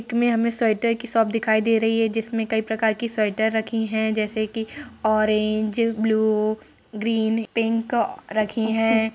Pick में हमें sweater की शॉप दिखाई दे रही है जिसमें कई प्रकार के स्वेटर रखी हैं। जैसे कि ऑरेंज ब्लू ग्रीन पिंक रखी हैं।